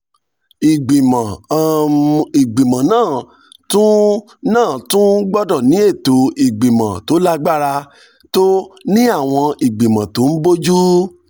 ìgbìmọ̀ um náà tún náà tún gbọ́dọ̀ ní ètò ìgbìmọ̀ tó lágbára um tó ní àwọn ìgbìmọ̀ tó ń bójú